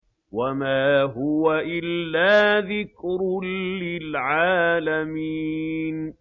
وَمَا هُوَ إِلَّا ذِكْرٌ لِّلْعَالَمِينَ